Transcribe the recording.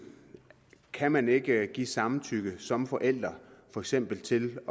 kan man ikke give samtykke som forælder for eksempel til